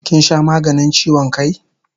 Kin sha maganin chiwon kai?